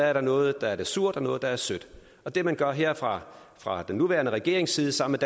er der noget der er surt og noget der er sødt og det man gør her fra fra den nuværende regerings side sammen